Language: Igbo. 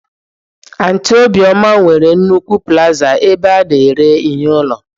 Aunty obioma nwere nnukwu plazaa ebe a na-ere ihe ụlọ